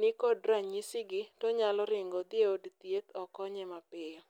nikod ranyisgi to nyalo ringo odhi e od thieth okonye mapiyo.